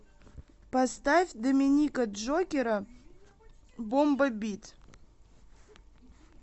поставь доминика джокера бомба бит